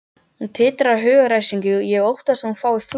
Hún titrar af hugaræsingi, ég óttast að hún fái flog.